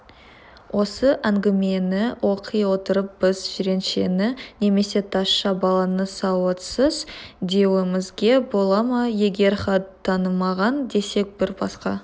осы әңгімені оқи отырып біз жиреншені немесе тазша баланы сауатсыз деуімізге бола ма егер хат танымаған десек бір басқа